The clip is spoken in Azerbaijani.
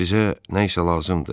Sizə nə isə lazımdır?